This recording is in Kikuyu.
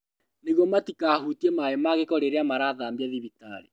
Nĩguo matikahutie maaĩ ma gĩko rĩrĩa marathambia thibitarĩ